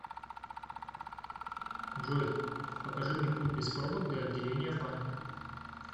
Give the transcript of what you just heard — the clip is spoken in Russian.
джой покажи мне путь без пробок до отделения банка